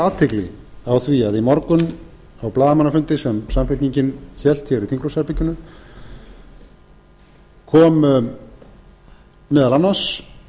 athygli á því að í morgun á blaðamannafundi sem samfylkingin hélt hér í þingflokksherberginu kom meðal annars